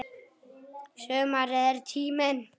Sumarið er tíminn.